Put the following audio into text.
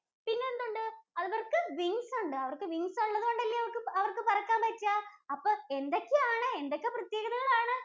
പിന്നെന്തുണ്ട്? അവര്‍ക്ക് wings ഉണ്ട്. അവര്‍ക്ക് wings ഉള്ളതുകൊണ്ടല്ലേ അവര്‍ക്ക് പറക്കാന്‍ പറ്റുകാ. അപ്പോ എന്തൊക്കെയാണ്, എന്തൊക്കെ പ്രത്യേകതകളാണ്.